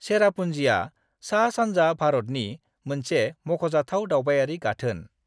चेरापूंजीआ सा-सानजा भारतनि मोनसे मख'जाथाव दावबायारि गाथोन।